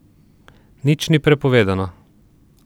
Nič ni prepovedano.